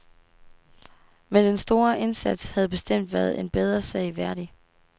Men den store indsats havde bestemt været en bedre sag værdig.